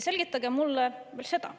Selgitage mulle veel seda.